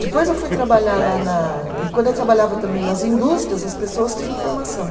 Depois eu fui trabalhar lá na, e quando eu trabalhava também nas indústrias, as pessoas tinham formação.